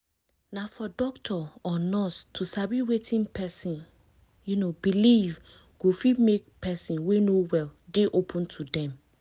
na for doctor or nurse to sabi wetin person um believe go fit make person wey no well dey open to dem